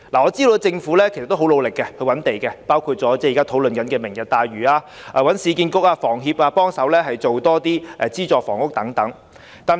我知道政府也很積極覓地建屋，包括提出現時討論中的"明日大嶼"計劃，又請市區重建局和香港房屋協會協力推出資助房屋等。